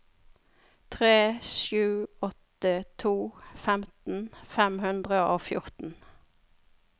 tre sju åtte to femten fem hundre og fjorten